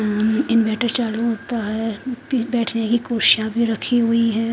अम inverter चालू होता है बैठ ने का कुर्सियां भी रखी हुई है।